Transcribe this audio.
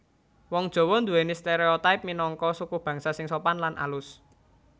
Wong Jawa nduwèni stereotipe minangka sukubangsa sing sopan lan alus